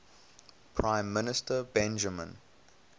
prime minister benjamin